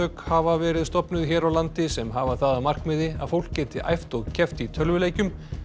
hafa verið stofnuð hér á landi sem hafa það að markmiði að fólk geti æft og keppt í tölvuleikjum